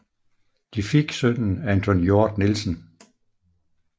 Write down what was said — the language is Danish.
De fik sønnen Anton Hjort Nielsen